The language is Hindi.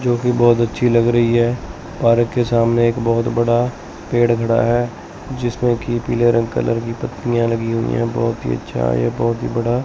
जो कि बहुत अच्छी लग रही है पार्क के सामने एक बहुत बड़ा पेड़ खड़ा है जिसमें कि पीले रंग कलर की पत्तियां लगी हुई हैं बहुत ही अच्छा यह बहुत ही बड़ा--